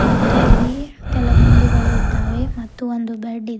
ಮತ್ತು ಇಲ್ಲಿ ತೆಲಗುಂಬಿಗಳು ಇದ್ದಾವೆ ಮತ್ತು ಒಂದು ಬೆಡ್ ಇದೆ.